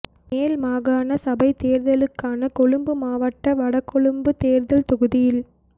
மேல் மாகாண சபை தேர்தலுக்கான கொழும்பு மாவட்ட வடகொழும்பு தேர்தல் தொகுதியில்